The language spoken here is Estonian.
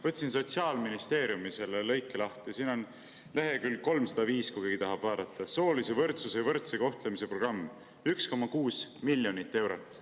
Võtsin lahti Sotsiaalministeeriumi lõike, see on leheküljel 305, kui keegi tahab vaadata: soolise võrdsuse ja võrdse kohtlemise programm, 1,6 miljonit eurot.